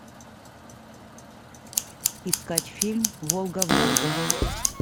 искать фильм волга волга